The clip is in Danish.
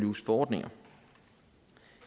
use forordninger